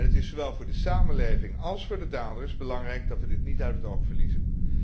Het is zowel voor de samenleving als voor de daders belangrijk dat we dit niet uit het oog verliezen.